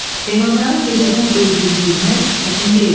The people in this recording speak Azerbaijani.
Heyvanların gecədən öldüyünü bilmək çətin deyildi.